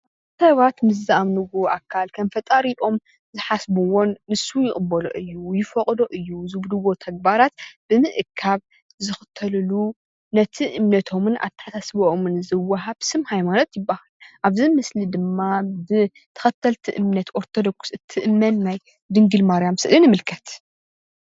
ሰባት ምስ ዝኣምንዎ ኣካል ከም ፈጣሪኦም ዝሓስብዎን ንሱ ይቅበሎ እዩ ይፈቅዶ እዩ ዝብልዎ ተግባራት ብምእካብ ዝክተልሉ ነቲ እምነቶምን ኣተሓሳስበኦምን ዝወሃብ ስም ሃይማኖት ይባሃል፡፡ ኣብዚ ምስሊ እዚ ድማ ብተከተልቲ እምነት ኦርተዶክስ እትእመን ናይ ድንግል ማርያም ስእሊ ንምልከት፡፡